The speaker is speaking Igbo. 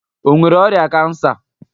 Ọ nwere ọrịa kansa?